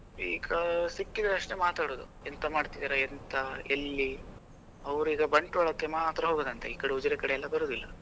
ಈಗ ಸಿಕ್ಕಿದ್ರೆ ಅಷ್ಟೇ ಮಾತಾಡೋದು ಎಂತ ಮಾಡ್ತಿದ್ದೀರಾ ಎಂಥ ಎಲ್ಲಿ ಅವರೀಗ ಬಂಟ್ವಾಳಕ್ಕೆ ಮಾತ್ರ ಹೋಗುದಂತೆ ಈ ಕಡೆ ಉಜಿರೆ ಕಡೆ ಎಲ್ಲ ಬರುದಿಲ್ಲ.